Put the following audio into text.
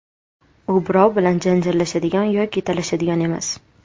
U birov bilan janjallashadigan yoki talashadigan emas.